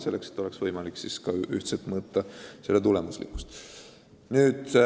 Siis oleks võimalik projekti tulemuslikkust ühtselt mõõta.